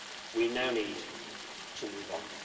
We now need to move on.